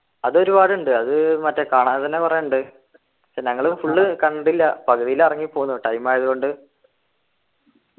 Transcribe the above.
അതൊരുപാടുണ്ട് അത് മറ്റേ കാണാൻ തന്നെ കൊറേ ഉണ്ട് പക്ഷെ ഞങ്ങള് full കണ്ടില്ല പകുതിയില് ഇറങ്ങി പോന്നു time ആയതുകൊണ്ട്